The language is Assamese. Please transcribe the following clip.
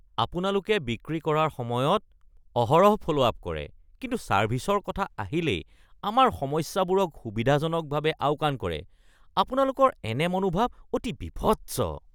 আপোনালোকে বিক্ৰী কৰাৰ সময়ত অহৰহ ফ’ল’ আপ কৰে কিন্তু ছাৰ্ভিছৰ কথা আহিলেই আমাৰ সমস্যাবোৰক সুবিধাজনকভাৱে আওকাণ কৰে, আপোনালোকৰ এনে মনোভাৱ অতি বিভৎস। (গ্ৰাহক)